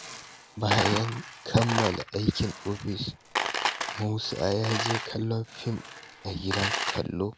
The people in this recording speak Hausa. Bayan kammala aikin ofis, Musa ya je kallon fim a gidan kallo.